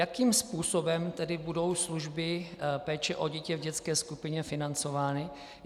Jakým způsobem tedy budou služby péče o dítě v dětské skupině financovány?